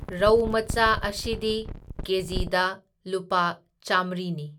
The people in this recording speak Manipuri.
ꯔꯧ ꯃꯆꯥ ꯑꯁꯤꯗꯤ ꯀꯦꯖꯤꯗ ꯂꯨꯄꯥ ꯆꯥꯃ꯭ꯔꯤꯅꯤ꯫